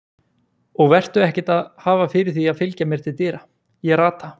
Og vertu ekkert að hafa fyrir því að fylgja mér til dyra, ég rata.